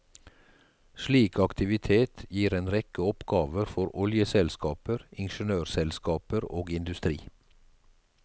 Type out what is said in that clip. Slik aktivitet gir en rekke oppgaver for oljeselskaper, ingeniørselskaper og industri.